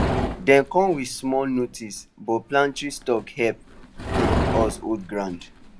dem come with small notice but pantry stock help um us hold ground